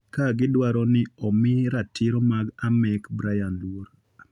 ka gidwaro ni omi ratiro mag Amek Brian luor.